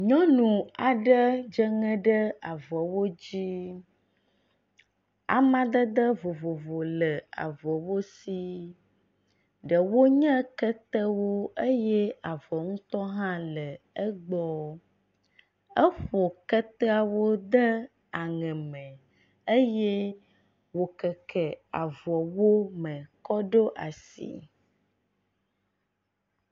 Nyɔnu aɖe dze ŋe ɖe avɔwo dzi. Amadede vovovo le avɔwo si. Ɖewo nye ketewo eye avɔ ŋutɔ hã le egbɔ. Eƒo keteawo de aŋe me eye wokeke avɔwo me kɔ ɖo asi.